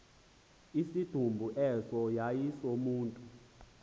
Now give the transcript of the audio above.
isidumbu eso yayisesomntu